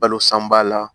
Balo san ba la